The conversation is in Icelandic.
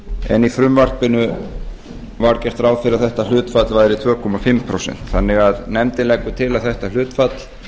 en í frumvarpinu var gert ráð fyrir að þetta hlutfall væri tvö og hálft prósent þannig að nefndin leggur til að þetta hlutfall